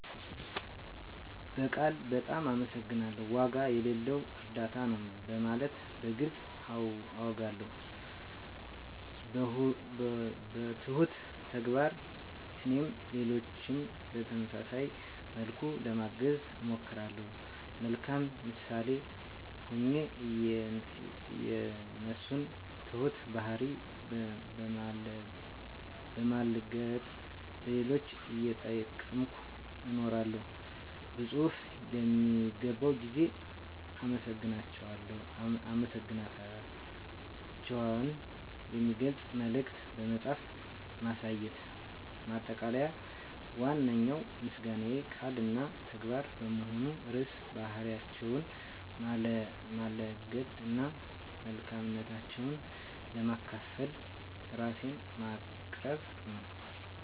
በቃል "በጣም አመሰግናለሁ"፣ "ዋጋ የሌለው እርዳታ ነው" በማለት በግልፅ አውጋለሁ። 2. በትሁት ተግባር (Humble Action) - እኔም ሌሎችን በተመሳሳይ መልኩ ለማገዝ እሞክራለሁ። 3. የመልካም ምሳሌ ሆኜ የእነሱን ትሁት ባህሪ በማላገጥ ለሌሎች እየጠቀምኩ እነግራለሁ። 4. በፅሁፍ ለሚገባው ጊዜ አመሰግናታቸውን የሚገልጽ መልዕክት በመጻፍ ማሳየት። ማጠቃለያ ዋነኛው ምስጋናዬ ቃል እና ተግባር በመሆን ርዕሰ ባህሪያቸውን ማላገጥ እና መልካምነታቸውን ለማካፈል ራሴን ማቅረብ ነው።